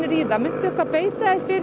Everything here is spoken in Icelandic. í það muntu beita þér fyrir